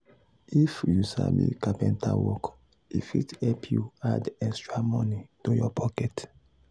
if you sabi carpenter work e fit help you add extra money to your pocket.